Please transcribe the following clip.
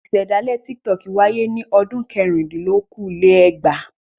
Ìṣe dálé Tiktok wáyé ní ọdún Kẹrìndínlókòó-lé-ẹgbàá..